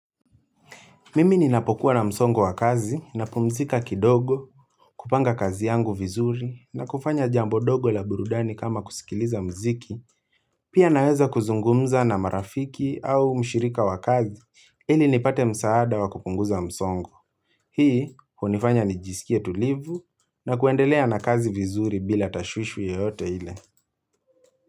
Mimi ninapokuwa na msongo wa kazi napumzika kidogo kupanga kazi yangu vizuri na kufanya jambo dogo la burudani kama kusikiliza mziki. Pia naweza kuzungumza na marafiki au mshirika wa kazi ili nipate msaada wa kupunguza msongo. Hii, hunifanya nijisikie tulivu na kuendelea na kazi vizuri bila tashwishwi yote ile.